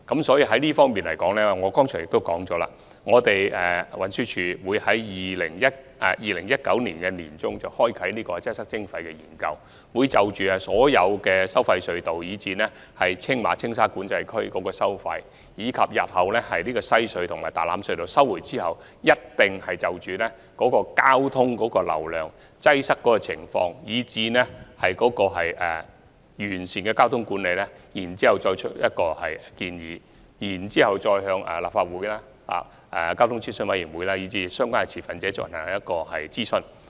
就這方面，我剛才亦已指出，運輸署會在2019年年中啟動"擠塞徵費"研究，就所有收費隧道及青馬和青沙管制區的收費、日後收回西隧及大欖隧道後的交通流量及擠塞情況，以及如何完善交通管理提出建議，並會諮詢立法會、交通諮詢委員會及相關持份者。